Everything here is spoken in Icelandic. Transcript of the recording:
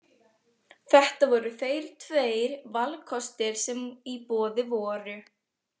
Þetta voru þeir tveir valkostir sem í boði voru.